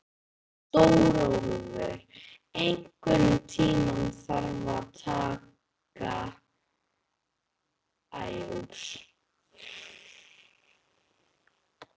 Stórólfur, einhvern tímann þarf allt að taka enda.